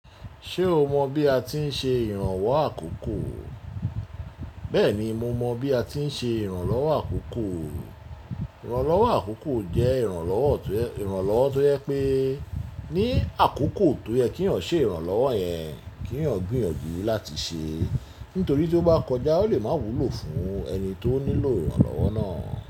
Ṣé o mọ bí a ti ń ṣe ìrànwọ́ àkókò? Bẹ́ẹ̀ni, mo mọ bí a ti ń ṣe ìrànlọ́wọ́ àkókò. Ìrànlọ́wọ́ àkókò jẹ́ ìrànlọ́wọ́ tó yẹ pé ní àkókò tó yẹ kí ọ̀ṣẹ ìrànlọ́wọ́ yẹn, kí wọ́n gbìyànjú láti ṣe. Nítorí tí ó bá kọjá, ó lè má wúlò fún ẹni tó nílò ìrànlọ́wọ́ náà.